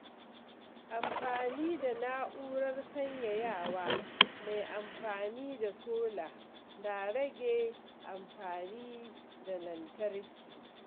Amfani da na'urar sanyayawa mai amfani da sola na rage amfani da lantarki.